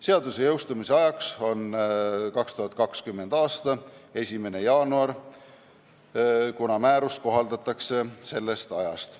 Seaduse jõustumise aeg on 2020. aasta 1. jaanuar, kuna määrus kohaldatakse sellest ajast.